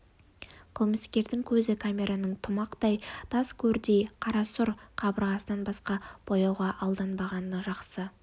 қылмыскердің көзі камераның тамұқтай тас көрдей қарасұр қабырғасынан басқа бояуға алданбағаны жақсы